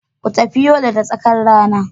Ku tafi Yola da tsakar rana.